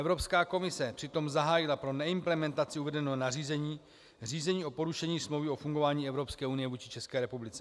Evropská komise přitom zahájila pro neimplementaci uvedeného nařízení řízení o porušení Smlouvy o fungování Evropské unie vůči České republice.